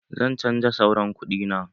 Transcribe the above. Zan canja sauran kudi na.